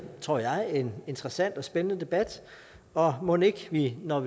tror jeg en interessant og spændende debat og mon ikke vi når